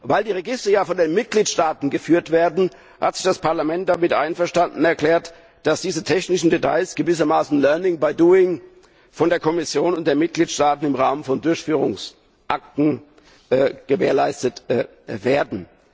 Weil die Register ja von den Mitgliedstaaten geführt werden, hat sich das Parlament damit einverstanden erklärt, dass diese technischen Details gewissermaßen durch learning by doing von der Kommission und den Mitgliedstaaten im Rahmen von Durchführungsakten gewährleistet werden.